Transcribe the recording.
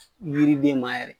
Yiriden ma yɛrɛ